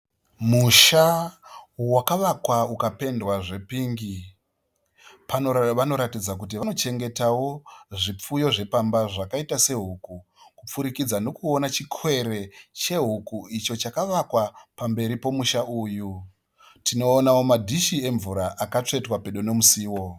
Musha wakavakwa ukapendwa zvepingi. Vanoratidza kuti vanochengetawo zvipfuyo zvepamba zvakaita sehuku, kupfurikidza nokuona chikwere kwehuku icho chakavakwa pamberi pomusha uyu. Tinoonawo madhishi emvura akatsvetwa pedo nemusiwo.